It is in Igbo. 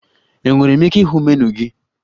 Enwere m ike ịhụ menu gị?